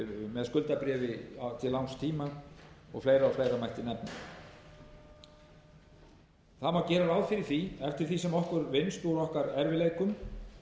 með skuldabréfi til langs tíma og fleira mætti nefna gera má ráð fyrir því eftir því sem okkur vinnst úr okkar erfiðleikum